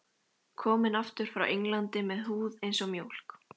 Kominn aftur frá Englandi með húð eins og mjólk.